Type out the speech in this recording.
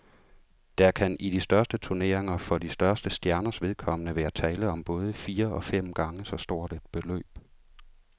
Der kan i de største turneringer for de største stjerners vedkommende være tale om både fire og fem gange så stort et beløb.